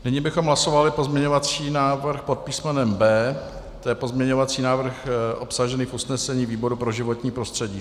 Nyní bychom hlasovali pozměňovací návrh pod písmenem B, to je pozměňovací návrh obsažený v usnesení výboru pro životní prostředí.